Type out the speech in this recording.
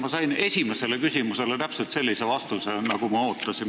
Ma sain esimesele küsimusele täpselt sellise vastuse, nagu ma ootasin.